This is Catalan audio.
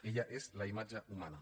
ella és la imatge humana